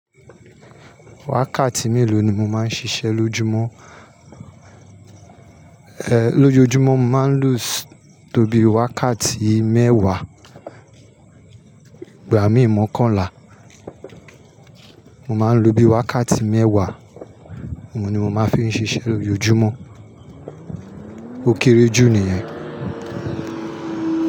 Wákàtí mélòó ni mo máa ń ṣiṣẹ́ lójoojúmọ́? Ehn, lójoojúmọ́ mo máa ń lose tó bí i wákàtí mẹ́wàá. Igb mí ì mọ̀kanlà. Mo máa ń lo bí wákàtí mẹ́wàá, òun ni mo máa n fi ń ṣiṣẹ́ lójoojúmọ́. Ó kéré jù nìyẹn.